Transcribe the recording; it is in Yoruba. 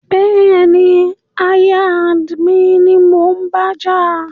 Bẹ́ẹ̀ni, aya and mi ni mò ń bájà